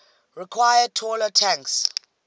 require taller tanks